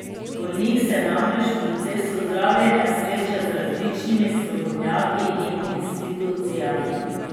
Bolnik se namreč v procesu zdravljenja sreča z različnimi strokovnjaki in institucijami.